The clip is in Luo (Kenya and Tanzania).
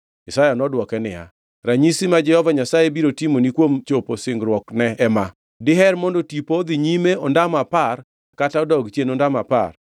Isaya nodwoke niya, “Ranyisi ma Jehova Nyasaye biro timoni kuom chopo singruokne ema: Diher mondo tipo odhi nyime ondamo apar kata odog chien ondamo apar?”